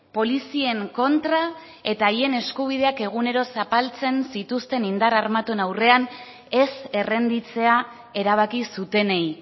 polizien kontra eta haien eskubideak egunero zapaltzen zituzten indar armatuen aurrean ez errenditzea erabaki zutenei